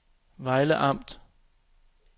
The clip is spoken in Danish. Vejle Amt